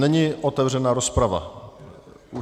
Není otevřena rozprava.